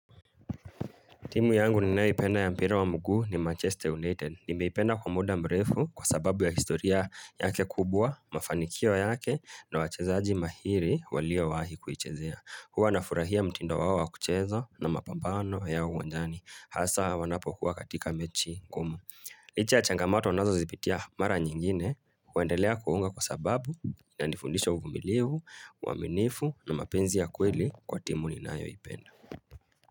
Timu yangu ninayoipenda ya mpira wa mguu ni Manchester United. Nimeipenda kwa muda mrefu kwa sababu ya historia yake kubwa, mafanikio yake na wachezaji mahiri waliowahi kuichezea. Huwa nafurahia mtindo wao wa kucheza na mapambano ya uwanjani. Hasa wanapokuwa katika mechi kuu. Licha ya changamato wanazozipitia mara nyingine, huendelea kuwaunga kwa sababu inanifundisha uvumilivu, uaminifu na mapenzi ya kweli kwa timu ninayoipenda.